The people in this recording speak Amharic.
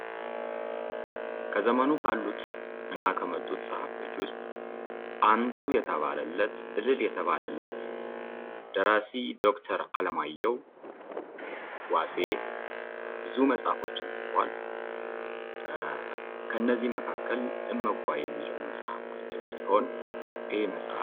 ከዘመኑ ካሉትና ከመጡ ፀሐፊዎች ውስጥ አንቱ የተባለለት እልል የተባለለት ደራሲ ዶክተር አለማየሁ ዋሴ እሸቴ ብዙ መጻፍቶችን ጽፏል ከነዚህ መካከል እመጓ ነው ።